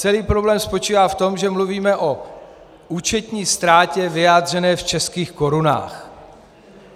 Celý problém spočívá v tom, že mluvíme o účetní ztrátě vyjádřené v českých korunách.